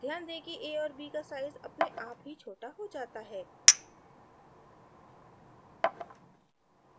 ध्यान दें कि a और b का size अपने आप ही छोटा हो जाता है